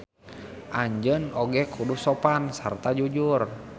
Anjeun oge kudu sopan sarta jujur.